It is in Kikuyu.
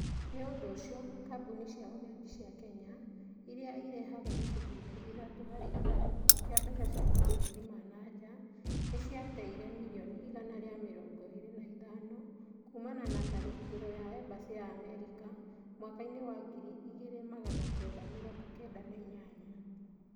Nĩ ũndũ ũcio, kambuni cia ũgendi cia Kenya, irĩa irehaga gĩcunje kĩa itatũ harĩ ithano kĩa mbeca cia mabũrũrĩ ma na jaa nĩ cia teire mirioni igana rĩa mĩrongo ĩrĩ na ithano kuumana na tharĩkĩro ria ebasĩ ya amerika mwakainĩ wa ngiri igĩrĩ magana kenda mirongo kenda na inyanya.